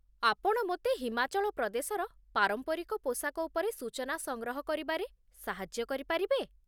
ଆପଣ ମୋତେ ହିମାଚଳ ପ୍ରଦେଶର ପାରମ୍ପରିକ ପୋଷାକ ଉପରେ ସୂଚନା ସଂଗ୍ରହ କରିବାରେ ସାହାଯ୍ୟ କରିପାରିବେ?